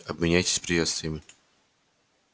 обменяйтесь приветствиями